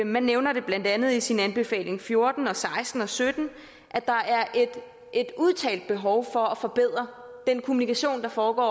man nævner blandt andet i sin anbefaling fjorten seksten og sytten at der er et udtalt behov for at forbedre den kommunikation der foregår